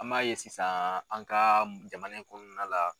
An b'a ye sisan an ka jamana in kɔnɔna la.